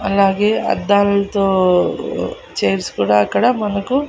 అలాగే అద్దాలతో చైర్స్ కూడా అక్కడ మనకు.